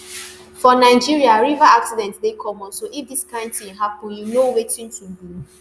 for nigeria river accident dey common so if dis kain tin happun you know wetin to do